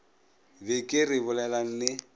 be ke re bolelang le